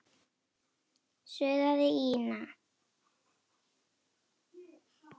suðaði Ína.